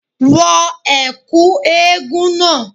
Wọ ẹ̀kú eégún náà